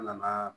An nana